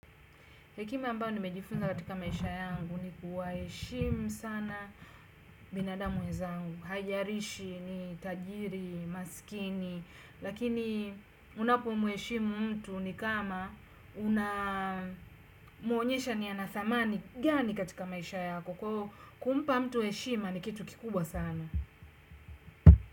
Hekima ambao nimejifunza katika maisha yangu ni kuwaheshimu sana binadamu wenzangu. Haijalishi ni tajiri, maskini. Lakini unapomheshimu mtu ni kama unamwonyesha ni ana thamani gani katika maisha yako. Kwa hiyo kumpa mtu heshimu ni kitu kikubwa sana.